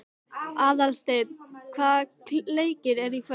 Aðalsteina, hvaða leikir eru í kvöld?